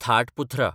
थाट पुथ्रा